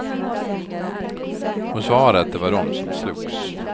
Hon svarade att det var dom som slogs.